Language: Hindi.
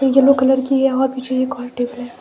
येलो कलर की है और पीछे एक और टेबल है।